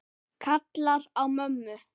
Kallar á mömmu.